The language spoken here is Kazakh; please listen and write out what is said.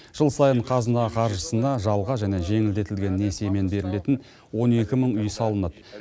жыл сайын қазына қаржысына жалға және жеңілдетілген несиемен берілетін он екі мың үй салынады